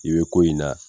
I bɛ ko in na